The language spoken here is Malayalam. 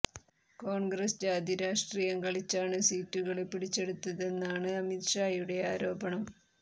കോണ്ഗ്രസ് ജാതി രാഷ്ട്രീയം കളിച്ചാണ് സീറ്റുകള് പിടിച്ചെടുത്തതെന്നാണ് അമിത് ഷായുടെ ആരോപണം